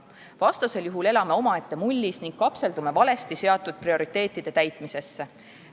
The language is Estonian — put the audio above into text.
Vastasel juhul elame omaette mullis ning kapseldume valesti seatud prioriteetide täitmisesse.